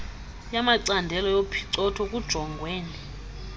yamacandelo yophicotho kujongwene